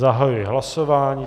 Zahajuji hlasování.